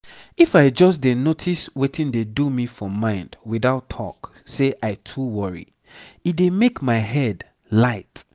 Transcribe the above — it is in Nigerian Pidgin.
if i just dey notice wetin dey do me for mind without talk say i too worry e dey make my head light.